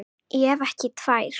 Ef ekki tvær.